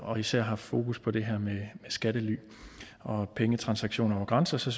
og især haft fokus på det her med skattely og pengetransaktioner over grænser så